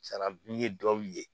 sarabu ye dɔw ye